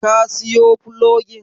Ka siyo fulogin?